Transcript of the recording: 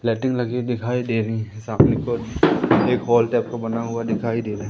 लगी दिखाई दे रही है सामने की ओर एक हॉल टाइप बना हुआ दिखाई दे रहा हैं।